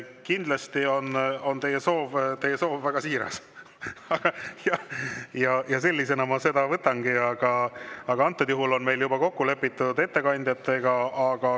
Kindlasti on teie soov väga siiras ja sellisena ma seda võtangi, aga antud juhul on meil juba ettekandjatega kokku lepitud.